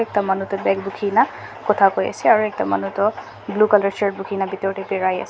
ekta manu toh bag bukhina khota koiase aro ekta manu toh blue colour shirt bukhina bitortae biraiase.